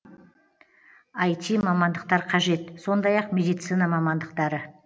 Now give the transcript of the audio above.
ай ти мамандықтар қажет сондай ақ медицина мамандықтары